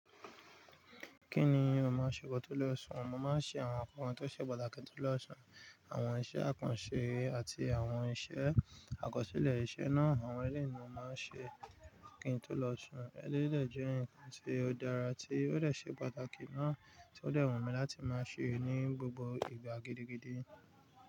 Kí ni mo máa ṣe ki n tó lọ sùn? Mo máa ṣe àwọn nǹkan tó ṣe pàtàkì ki n tó lọ sùn, àwọn iṣẹ́ àkànṣe àti àwọn iṣẹ́ àkọsílẹ̀. Iṣẹ́ náà àwọn ẹlẹ́yi ni mo máa n ṣe kí n tó lọ sùn. Ẹleyi de jẹ́ ǹkan tí ó dára tí ó dẹ̀ ṣe pàtàkì náà tí ó dẹ̀ wù mí láti máa ṣe ní gbogbo ìgbà gidigidi.